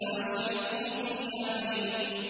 وَأَشْرِكْهُ فِي أَمْرِي